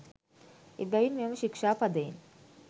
එබැවින් මෙම ශික්ෂාපදයෙන්